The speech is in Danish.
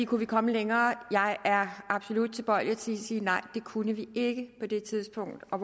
kunne vi komme længere jeg er absolut tilbøjelig til at sige nej det kunne vi ikke på det tidspunkt og